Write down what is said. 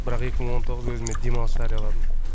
бірақ екі мың он тоғыз өзіме демалыс жарияладым